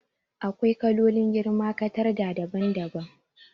AkwaiKalolin girma katarda daban daban